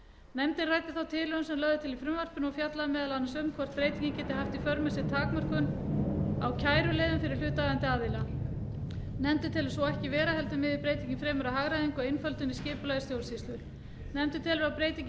nefndin ræddi þá tilhögun sem lögð er til í frumvarpinu og fjallaði meðal annars um hvort breytingin geti haft í för með sér takmörkun á kæruleiðum fyrir hlutaðeigandi aðila nefndin telur svo ekki vera heldur miði breytingin fremur að hagræðingu og einföldun í skipulagi stjórnsýslu nefndin telur að breytingin